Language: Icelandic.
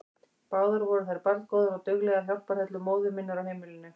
Báðar voru þær barngóðar og duglegar hjálparhellur móður minnar á heimilinu.